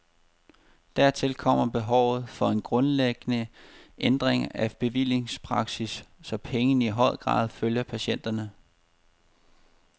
Dertil kommer behovet for en grundlæggende ændring af bevillingspraksis, så pengene i højere grad følger patienterne.